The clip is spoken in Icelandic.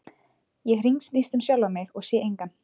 Ég hringsnýst um sjálfa mig en sé engan.